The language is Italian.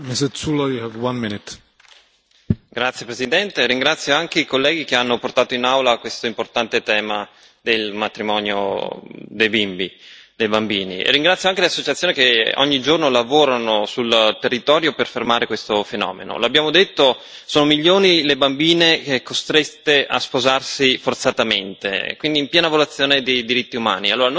Signor Presidente, onorevoli colleghi, ringrazio anche i colleghi che hanno portato in Aula questo importante tema del matrimonio dei bambini. Ringrazio anche le associazioni che ogni giorno lavorano sul territorio per fermare questo fenomeno. L'abbiamo detto sono milioni le bambine costrette a sposarsi forzatamente, quindi in piena violazione dei diritti umani.